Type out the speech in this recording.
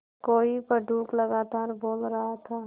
कोई पंडूक लगातार बोल रहा था